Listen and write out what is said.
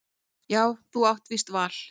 Jú þú átt víst val.